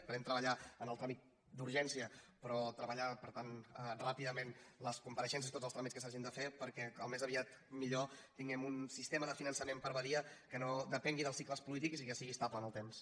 esperem treballar en el tràmit d’urgència però treballar per tant ràpidament les compareixences i tots els tràmits que s’hagin de fer perquè com més aviat millor tinguem un sistema de finançament per a badia que no depengui dels cicles polítics i que sigui estable en el temps